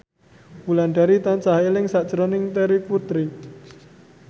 Wulandari tansah eling sakjroning Terry Putri